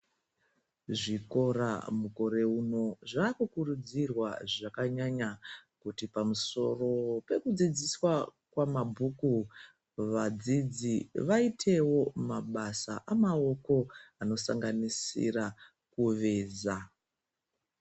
Zvikora mukore uno zvakukurudzirwa kuti pamusoro pekudzidziswa kwemabhuku vadzidzi vaitewo mabasa emaoko anosanganisira kuveza.